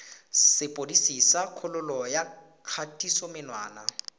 sepodisi sa kgololo ya kgatisomenwa